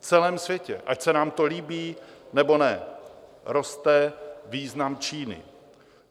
V celém světě, ať se nám to líbí, nebo ne, roste význam Číny.